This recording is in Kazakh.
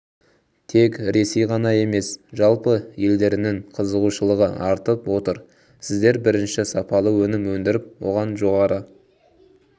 тек ресей ғана емес жалпы елдерінің қызығушылығы артып отыр сіздер бірінші сапалы өнім өндіріп оған жоғары